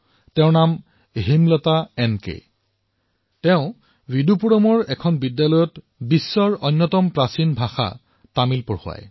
তেওঁৰ নাম Hemlata N K যিয়ে বিদুপুৰমৰ এখন বিদ্যালয়ত বিশ্বৰ সবাতোকৈ পুৰণি ভাষা তামিল পঢ়ুৱায়